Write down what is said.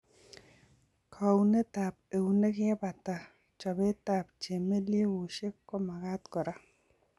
Kaunetab eunek yekebata chobetab chemelyegushek komagat kora.